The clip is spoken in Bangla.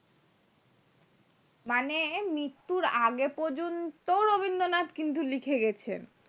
মানে মৃত্যুর আগে পর্যন্ত রবীন্দ্রনাথ কিন্তু লিখে গেছেন